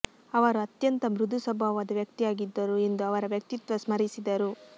ಅವರು ಅತ್ಯಂತ ಮೃದು ಸ್ವಭಾವದ ವ್ಯಕ್ತಿಯಾಗಿದ್ದರು ಎಂದು ಅವರ ವ್ಯಕ್ತಿತ್ವ ಸ್ಮರಿಸಿದರು